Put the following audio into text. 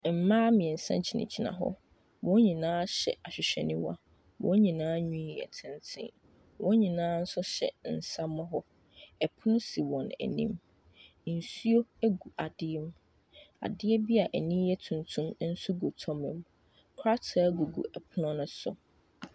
Mmea mmiɛnsa gyina gyina hɔ wɔn nyinaa hyɛ ahwehwɛniwa wɔn nyinaa nwi yɛ tenten wɔn hyɛ nsamuro ɛpono si wɔn anim nsuo gu adeɛ adeɛ bia anim yɛ tuntum nso gu toma mu krataa gugu ɛpono no so.